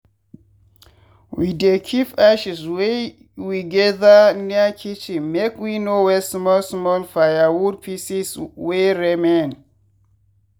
we dey keep ashes wey we gather near kitchen make we no waste small small firewood pieces wey remain.